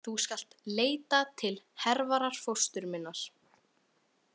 Þú skalt leita til Hervarar fóstru minnar.